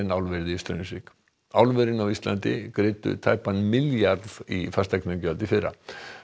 álverið í Straumsvík álverin á Íslandi greiddu tæpan milljarð í fasteignagjöld í fyrra